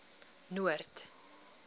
noord